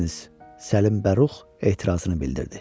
Səlim Bəruh etirazını bildirdi.